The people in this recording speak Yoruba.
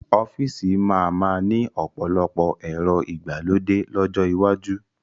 Ọ́fíìsì máa ma ni ọ̀pọ̀lọpọ̀ ẹ̀rọ ìgbàlódé lọ́jọ́ iwájú